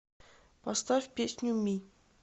поставь песню ми